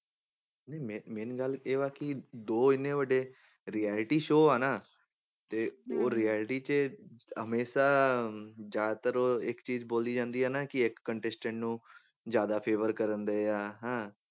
ਨਹੀਂ ਮੇ~ main ਗੱਲ ਇਹ ਆ ਕਿ ਦੋ ਇੰਨੇ ਵੱਡੇ reality show ਆ ਨਾ ਤੇ ਉਹ reality 'ਚ ਹਮੇਸ਼ਾ ਜ਼ਿਆਦਾ ਉਹ ਇੱਕ ਚੀਜ਼ ਬੋਲੀ ਜਾਂਦੀ ਆ ਨਾ ਕਿ ਇੱਕ contestant ਨੂੰ ਜ਼ਿਆਦਾ favour ਕਰਨ ਦੇ ਆ ਹੈਂ